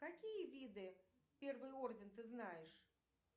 какие виды первый орден ты знаешь